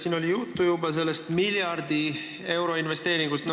Siin oli juba juttu sellest miljardi euro suurusest investeeringust.